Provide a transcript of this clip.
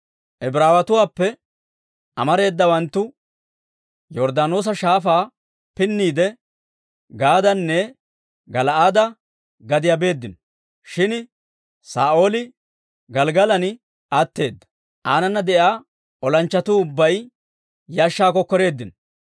Ibraawatuwaappe amareedawanttu Yorddaanoosa Shaafaa pinniide, Gaadanne Gala'aade gadiyaa beeddino. Shin Saa'ooli Gelggalan atteedda; aanana de'iyaa olanchchatuu ubbay yashshaw kokkoreeddinno.